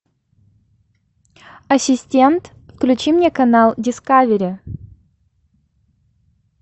ассистент включи мне канал дискавери